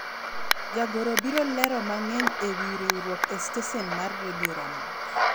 jagoro biro lero mang'eny ewi riwruok e stesen mar redio ramogi